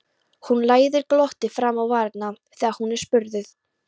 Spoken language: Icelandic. Hann læðir glotti fram á varirnar þegar hann er spurður.